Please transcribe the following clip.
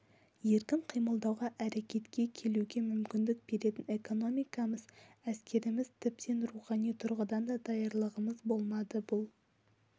еркін қимылдауға әрекетке келуге мүмкіндік беретін экономикамыз әскеріміз тіптен рухани тұрғыдан да даярлығымыз болмады бұл